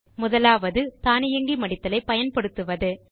முதலாவது தானியங்கி மடித்தல் ஐ பயன்படுத்துவது